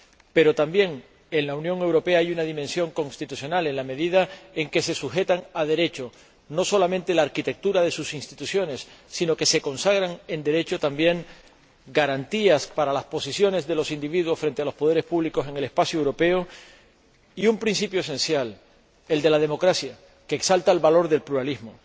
Pero también en la Unión Europea hay una dimensión constitucional, en la medida en que no solamente se sujeta a Derecho la arquitectura de sus instituciones, sino que también se consagran en Derecho garantías para las posiciones de los individuos frente a los poderes públicos en el espacio europeo, y un principio esencial, el de la democracia, que exalta el valor del pluralismo.